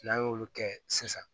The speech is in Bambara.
N'an y'olu kɛ sisan